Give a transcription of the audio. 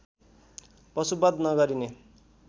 पशुबध नगरिने